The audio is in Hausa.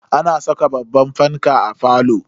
Ana saka babban fanka a falo.